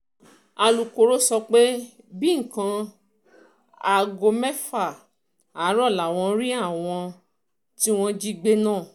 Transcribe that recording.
alūkró sọ pé nǹkan bíi um aago mẹ́fà àárọ̀ làwọn rí àwọn um tí wọ́n jí gbé náà